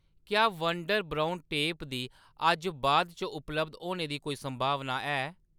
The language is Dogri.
क्या वंडर ब्रउन टेप दी अज्ज बाद च उपलब्ध होने दी कोई संभावना है ?